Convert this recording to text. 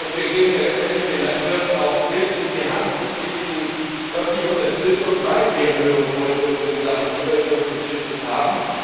Wir geben letztendlich den Landwirten auch Mittel in die Hand, geben ihnen öffentliche Unterstützung, weil wir strengere Vorschriften in Sachen Umweltschutz und Tierschutz haben.